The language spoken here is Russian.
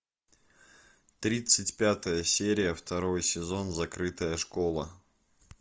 тридцать пятая серия второй сезон закрытая школа